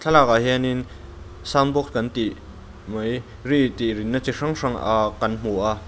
thlalak ah hianin sound box kan tih mai ri tih rin na chi hrang hrang ah kan hmu a.